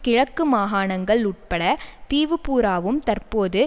கிழக்கு மாகாணங்கள் உட்பட தீவுபூராவும் தற்போது